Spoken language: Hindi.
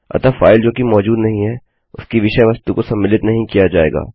अतः फाइल जो की मौजूद नहीं है उसकी विषय वस्तु को सम्मिलित नहीं किया जाएगा